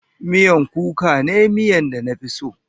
Miya kuka ne miyan da na fi so.